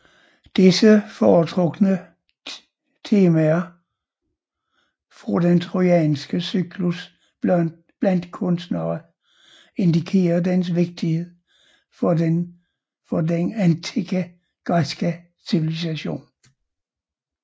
Disse foretrukne temaene fra den trojanske cyklus blandt kunstnere indikerer dens vigtighed for den antikke græske civilisation